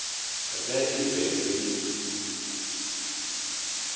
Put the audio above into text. ge e be e le